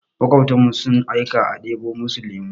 Maƙwabtanmu sun aika a ɗebo musu lemu.